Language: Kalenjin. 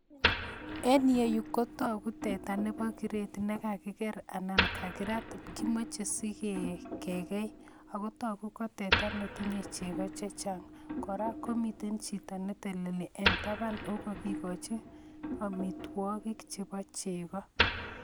En iyeyu Kotaku teta nebo gret nikakiker alaan Nikirat kimache sike kei akotaku koteta netinye cheki chechang, koraa komiten Chito neteleli en taban nekakikochi amitwakik chebo cheko